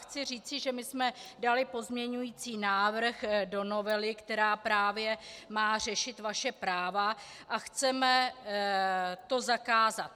Chci říci, že my jsme dali pozměňující návrh do novely, která právě má řešit vaše práva, a chceme to zakázat.